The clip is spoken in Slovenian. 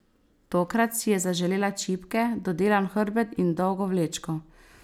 Tokrat si je zaželela čipke, dodelan hrbet in dolgo vlečko.